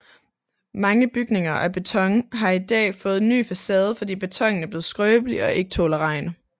Mange bygninger af beton har i dag fået en ny facade fordi betonen er blevet skrøbelig og ikke tåler regn